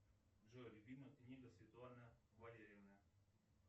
джой любимая книга светланы валерьевны